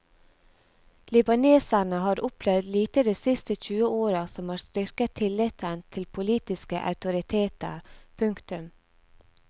Libaneserne har opplevd lite de siste tjue åra som har styrket tilliten til politiske autoriteter. punktum